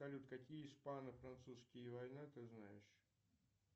салют какие испано французские война ты знаешь